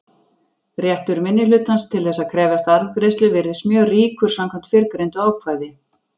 Réttur minnihlutans til þess að krefjast arðgreiðslu virðist mjög ríkur samkvæmt fyrrgreindu ákvæði.